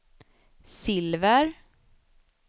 silver